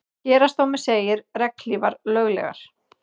Héraðsdómur segir regnhlífar löglegar